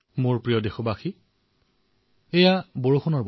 মোৰ মৰমৰ দেশবাসীসকল এয়া বাৰিষাৰ সময়